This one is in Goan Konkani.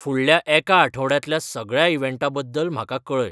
फुडल्या एका आठवड्यांतल्या सगळ्या इवँटांबद्दल म्हाका कळय